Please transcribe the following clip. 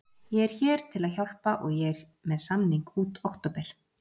Ég hér til að hjálpa og ég er með samning út október.